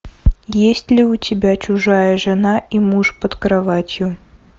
есть ли у тебя чужая жена и муж под кроватью